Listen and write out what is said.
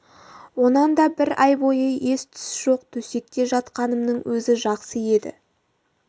онан да бір ай бойы ес-түс жоқ төсекте жатқанымның өзі жақсы еді